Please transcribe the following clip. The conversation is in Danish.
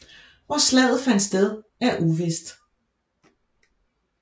Hvor slaget fandt sted er uvist